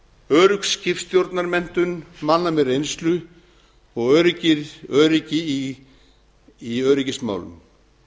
örugg skipstjórnarmenntun manna með reynslu og öryggi í öryggismálum